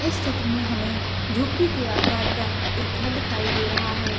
इस चित्र मै हमे झोपडी के अकार का एक घर दिखाई दे रहा है।